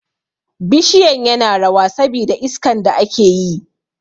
Bishiyan yana rawa sabi da iskan da ake yi